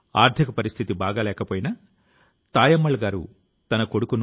కొన్ని పరిస్థితుల వల్ల చిన్ననాటి కల కలగానే మిగిలిపోయింది